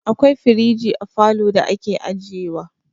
Akwai firiji a falo da ake ajiye wa.